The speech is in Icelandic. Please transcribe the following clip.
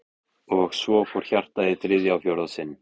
Og svo fór hjartað í þriðja og fjórða sinn.